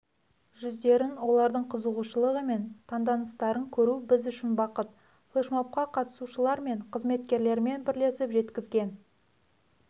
жүздерін олардың қызығушылығы мен таңданыстарын көру біз үшін бақыт флешмобқа қатысушылар мен қызметкерлерімен бірлесіп жеткізген